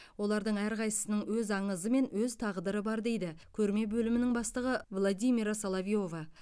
олардың әрқайсысының өз аңызы мен өз тағдыры бар дейді көрме бөлімінің бастығы владимира соловьева